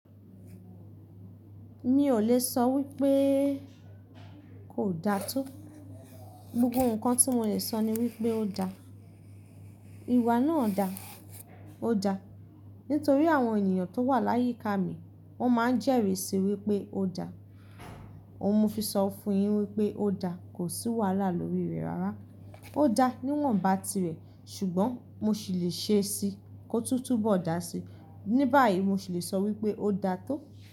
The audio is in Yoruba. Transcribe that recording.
Mi ò lè sọ wípé kò da tó. Gbogbo ǹkan tí mò lè sọ ni wípé ó da. Iwà náà dà, ó da. Nítorí àwọn ènìyàn tó wà láyíká mi wọ́n ma ń jẹ́rìsí wípé ó da. Ohun mo fi sọ fún yín wípé ó da kò sí wàhálà lórí rẹ̀ rárá. Ó da níwọ̀nba tirẹ̀ ṣùgbọ́n mo sì lè ṣe é si kó túńtún bọ̀ dà sí. Ní báyìí mo sì lè sọ wípé ó da tó.